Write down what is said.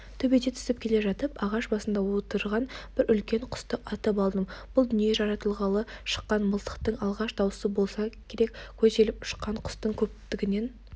төбеден түсіп келе жатып ағаш басында отырған бір үлкен құсты атып алдым бұл дүние жаратылғалы шыққан мылтықтың алғашқы даусы болса керек көтеріліп ұшқан құстың көптігінен